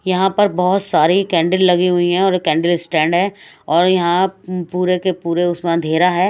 यहां पर बहोत सारी कैंडल लगी हुई है और कैंडल स्टैंड है और यहां पूरे के पूरे उसमें अंधेरा है।